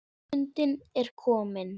Stundin er komin.